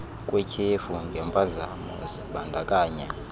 kwetyhefu ngempazamo zibandakanya